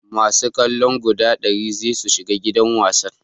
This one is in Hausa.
masu kallo guda dari za su shiga gidan wasan